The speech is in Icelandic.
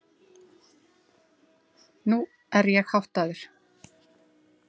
Nú er ég háttaður.